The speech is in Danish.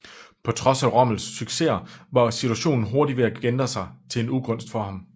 På trods af Rommels successer var situationen hurtigt ved at ændre sig til ugunst for ham